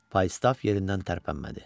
Faustaf yerindən tərpənmədi.